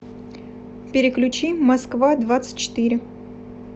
переключи москва двадцать четыре